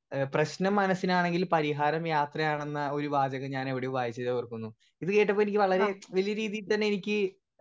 speaker 1 ഏഹ് പ്രെശ്നം മനസ്സിലാണെങ്കിൽ പരിഹാരം യാത്രയാണെന്ന് ഒരു വാചകം ഞാൻ എവിടെയോ വയ്ച്ചതായി ഓർക്കുന്നു ഇത് കേട്ടപ്പോ എനിക്ക് വളരെ വലിയ രീതിയിൽ തന്നെ എനിക്ക്